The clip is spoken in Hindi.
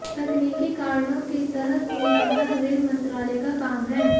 तकनीकी कारणों की तह में जाना रेल मंत्रालय का काम है